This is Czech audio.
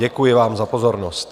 Děkuji vám za pozornost.